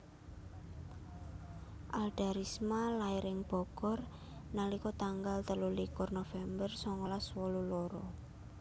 Alda Risma lair ing Bogor nalika tanggal telulikur November songolas wolu loro